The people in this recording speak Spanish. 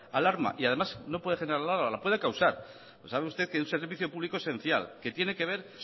alarma además no puede generar alarma la puede causar sabe usted que un servicio público es esencial que tiene que ver